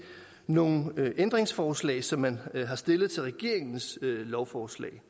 nogle ændringsforslag som man har stillet til regeringens lovforslag